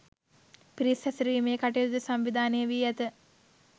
පිරිස් හැසිරවීමේ කටයුතුද සංවිධානය වී ඇත